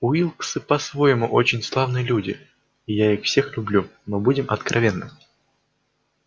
уилксы по-своему очень славные люди и я их всех люблю но будем откровенны